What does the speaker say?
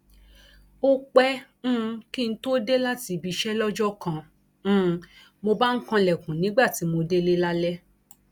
ó pẹ um kí n tóó dé láti ibi iṣẹ lọjọ kan um mo bá ń kanlẹkùn nígbà tí mo délé lálẹ